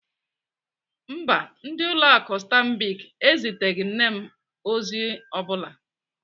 Mba, ndị ụlọ akụ Stanbic eziteghị nne m ozi ọ bụla.